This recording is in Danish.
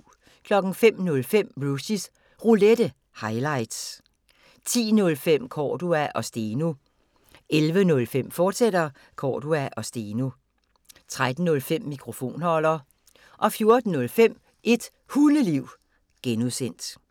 05:05: Rushys Roulette – highlights 10:05: Cordua & Steno 11:05: Cordua & Steno, fortsat 13:05: Mikrofonholder 14:05: Et Hundeliv (G)